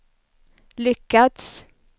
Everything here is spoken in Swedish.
lyckats